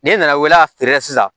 N'i nana feere kɛ sisan